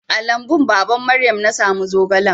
A lambun baban Maryam na samu zogalan.